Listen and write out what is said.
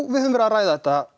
við höfum verið að ræða þetta